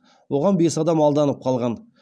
оған бес адам алданып қалған